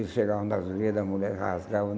Eles chegavam nas, as mulher rasgavam.